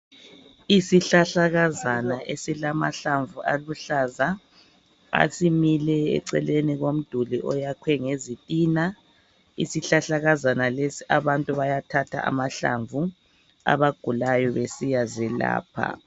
Isihlahlakazana esilamahlamvu aluhlaza esimile eceleni komduli oyakhwe ngezitina. Isihlahlakazana leso abantu bayathatha amahlamvu abagulayo besiya zelapha.